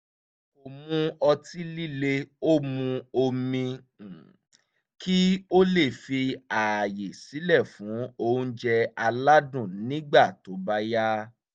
kò mu ọtí líle ó mu omi kí ó lè fi ààyè sílẹ̀ fún oúnjẹ aládùn nígbà tó bá yá